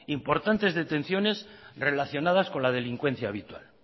importantes detenciones relacionadas con la delincuencia habitual